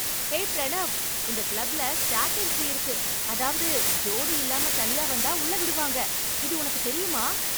ஹே ப்ரணவ்! இந்த கிளப்ல stag entry இருக்கு, அதாவது ஜோடி இல்லாம தனியா வந்தா உள்ள விடுவாங்க, இது உனக்குத் தெரியுமா?